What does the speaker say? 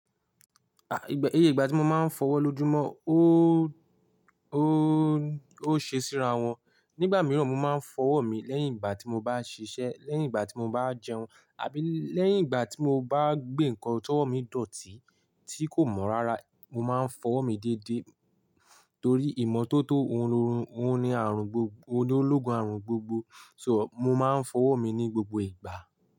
Iye ìgbà tí mo má ń fọ ọwọ́ lójoojúmọ́ o, ó ṣe síra wọn. Nígbà mìíràn, mo máa ń fọwọ́ mi lẹ́yìn ìgbà tí mo bá ṣiṣẹ́, lẹ́yìn ìgbà tí mo bá jẹun, àbí lẹ́yìn ìgbà tí mo bá gbé nǹkan tó mi dọ̀tí tí kò mọ́ rárá, mo máa ń fọ́wo mi dédé torí ìmọ́tótó òun lórun, òun ni àrùn gbogbo, ológun àrùn gbogbo. So, mo máa ń fọwọ́ mi ní gbogbo ìgbà.